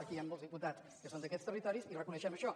aquí hi han molts diputats que són d’aquests territoris i reconeixem això